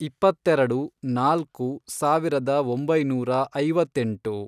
ಇಪ್ಪತ್ತೆರೆಡು, ನಾಲ್ಕು, ಸಾವಿರದ ಒಂಬೈನೂರ ಐವತ್ತೆಂಟು